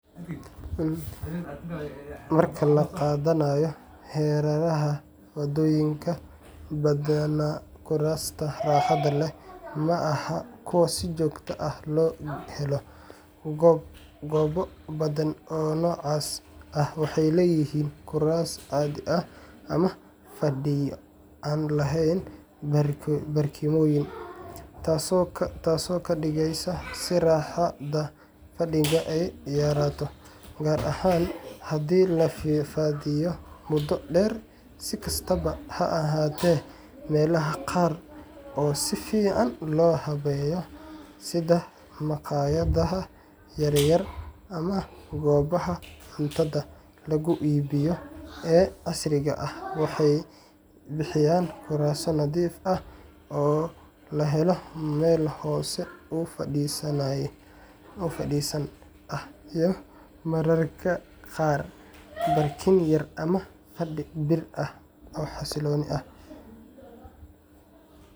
Marka laga qadaynayo hareeraha waddooyinka, badanaa kuraasta raaxada leh ma ahan kuwo si joogto ah loo helo. Goobo badan oo noocaas ah waxay leeyihiin kuraas caadi ah ama fadhiyo aan lahayn barkimooyin, taasoo ka dhigaysa in raaxada fadhigu ay yaraato, gaar ahaan haddii la fadhiyo muddo dheer. Si kastaba ha ahaatee, meelaha qaar oo si fiican loo habeeyey sida maqaayadaha yar yar ama goobaha cuntada lagu iibiyo ee casriga ah waxay bixiyaan kuraas nadiif ah oo leh meel hoos u fadhiisan ah iyo mararka qaar barkin yar ama fadhi bir ah oo xasiloon.